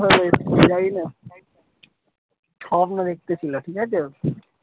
ওঠো স্বপ্ন দেখতে ছিল ঠিক আছে।